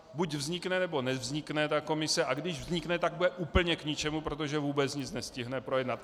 Buď vznikne, nebo nevznikne ta komise, a když vznikne, tak bude úplně k ničemu, protože vůbec nic nestihne projednat.